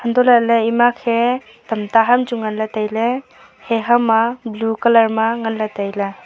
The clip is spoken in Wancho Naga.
hantoh lah ley ema khe tam ta ham chu ngan ley tai ley he ham a blue colour ma ngan ley tai ley.